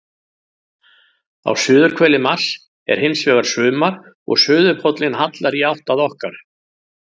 Á suðurhveli Mars er hins vegar sumar og suðurpóllinn hallar í átt að okkar.